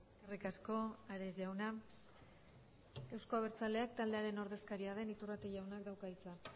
eskerrik asko ares jauna euzko abertzaleak taldearen ordezkaria den iturrate jaunak dauka hitza